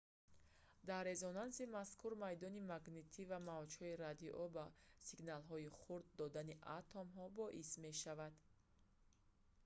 дар резонанси мазкур майдони магнитӣ ва мавҷҳои радио ба сигналҳои хурд додани атомҳо боис мешаванд